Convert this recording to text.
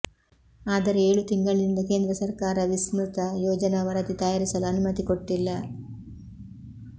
ಆದರೆ ಏಳು ತಿಂಗಳಿನಿಂದ ಕೇಂದ್ರ ಸರ್ಕಾರ ವಿಸ್ತೃತ ಯೋಜನಾ ವರದಿ ತಯಾರಿಸಲು ಅನು ಮತಿ ಕೊಟ್ಟಿಲ್ಲ